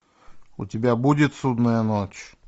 у тебя будет судная ночь